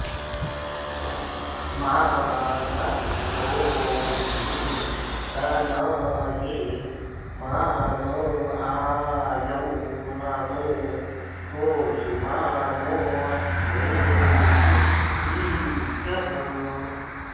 मा न॑स्तो॒के तन॑ये॒ मा न॑ आ॒यौ मा नो॒ गोषु॒ मा नो॒ अश्वे॑षु रीरिषः